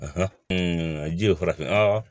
ji ye farafinna